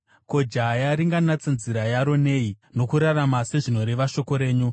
Ko, jaya ringanatsa nzira yaro nei? Nokurarama sezvinoreva shoko renyu.